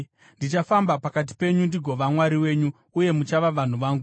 Ndichafamba pakati penyu ndigova Mwari wenyu, uye muchava vanhu vangu.